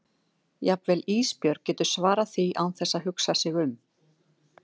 Jafnvel Ísbjörg getur svarað því án þess að hugsa sig um.